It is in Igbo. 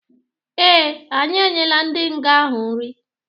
Ee, anyi enyela ndi nga-ahu nri